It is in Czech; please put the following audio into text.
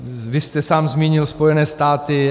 Vy jste sám zmínil Spojené státy.